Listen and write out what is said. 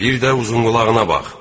Bir də uzunqulağına bax.